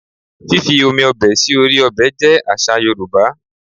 Fífi omi ọbẹ̀ sí orí ọbẹ̀ jẹ́ àṣà Yorùbá